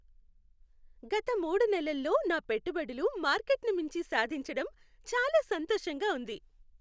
గత మూడు నెలల్లో నా పెట్టుబడులు మార్కెట్ని మించి సాధించటం చాలా సంతోషంగా ఉంది.